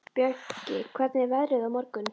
Bjöggi, hvernig er veðrið á morgun?